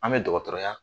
An bɛ dɔgɔtɔrɔya